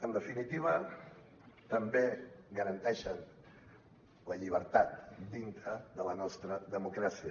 en definitiva també garanteixen la llibertat dintre de la nostra democràcia